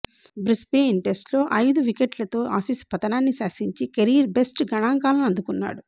Brisbane టెస్ట్లో ఐదు వికెట్లతో ఆసీస్ పతనాన్ని శాసించి కెరీర్ బెస్ట్ గణంకాలను అందుకున్నాడు